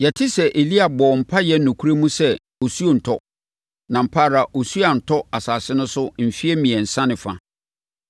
Yɛte sɛ Elia a ɔbɔɔ mpaeɛ nokorɛ mu sɛ osuo nntɔ, na ampa ara osuo antɔ asase no so mfeɛ mmiɛnsa ne fa.